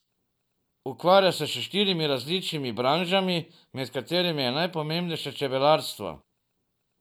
Ukvarja se s štirimi različnimi branžami, med katerimi je najpomembnejše čebelarstvo.